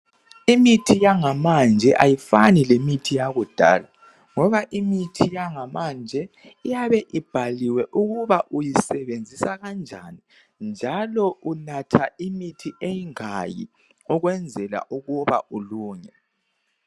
Imithi yangamanje ayifani lemithi yakudala ngoba imithi yangamanje iyabe ibhaliwe ukuba uyisebenzisa kanjani njalo unatha imithi engaki ukwenzela ukuba ulunge.